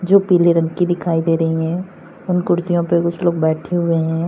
जो पीले रंग की दिखाई दे रही है और कुर्सियों पे कुछ लोग बैठे हुए हैं।